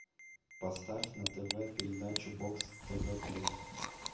поставь на тв передачу бокс тв плюс